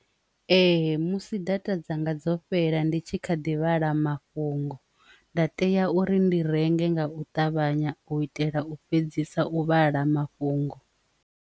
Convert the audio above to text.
Ee, musi data dza nga dzo fhela ndi tshi kha ḓi vhala mafhungo nda tea uri ndi renge nga u ṱavhanya u itela u fhedzisa u vhala mafhungo.